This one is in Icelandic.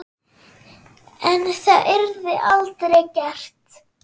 En það yrði aldrei gert.